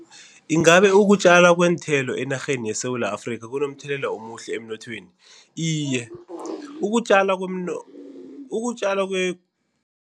Ingabe ukutjalwa kweenthelo enarheni yeSewula Afrika kunomthelela omuhle emnothweni? Iye ukutjala ukutjalwa